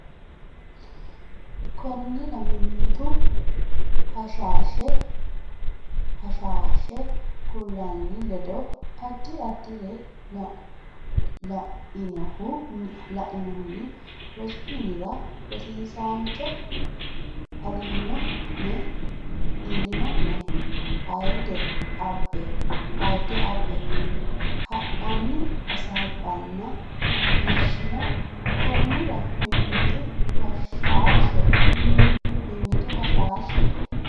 Konnira mimmitu hashaashe kulanni ledo addi addire lainohunni rosu minira Rosiisaancho Ilino ne ayidde abbe hadhanni hasaabbanna macciishshino Konnira mimmitu hashaashe.